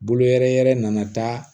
Bolo yɛrɛ yɛrɛ nana taa